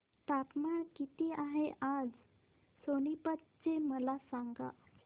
तापमान किती आहे आज सोनीपत चे मला सांगा